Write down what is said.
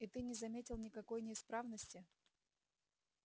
и ты не заметил никакой неисправности